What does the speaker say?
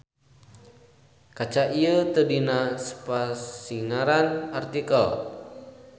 Kaca ieu teu dina spasingaran artikel.